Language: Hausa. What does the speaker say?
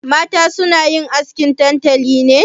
Mata suna yin askin tantali ne?